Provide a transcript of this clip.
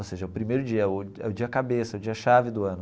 Ou seja, é o primeiro dia o, é o dia cabeça, é o dia chave do ano.